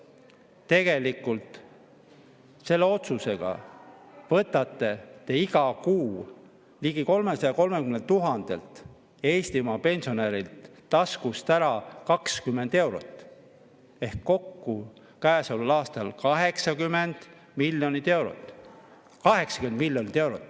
Tegelikult selle otsusega võtate te iga kuu ligi 330 000 Eestimaa pensionärilt taskust ära 20 eurot ehk kokku käesoleval aastal 80 miljonit eurot – 80 miljonit eurot!